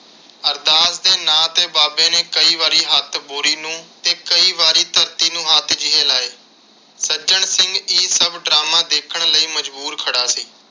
ਅਰਦਾਸ ਦੇ ਨਾਂ ਤੇ ਬਾਬੇ ਨੇ ਕਈ ਵਾਰੀ ਹੱਥ ਬੋਰੀ ਨੂੰ ਤੇ ਕਈ ਵਾਰੀ ਧਰਤੀ ਨੂੰ ਹੱਥ ਜਿਹੇ ਲਾਏ। ਸੱਜਣ ਸਿੰਘ ਇਹ ਸਭ drama ਦੇਖਣ ਲਈ ਮਜਬੂਰ ਖੜਾ ਸੀ।